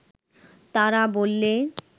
তারা বললে